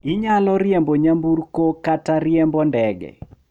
Inyalo riembo nyamburko kata riembo ndege.